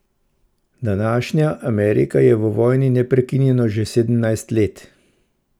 Današnja Amerika je v vojni neprekinjeno že sedemnajst let.